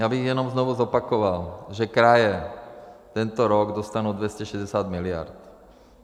Já bych jenom znovu zopakoval, že kraje tento rok dostanou 260 mld.